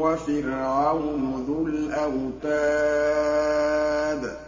وَفِرْعَوْنُ ذُو الْأَوْتَادِ